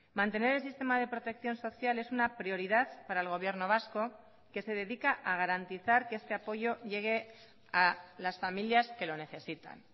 mantener el sistema de protección social es una prioridad para el gobierno vasco que se dedica a garantizar que este apoyo llegue a las familias que lo necesitan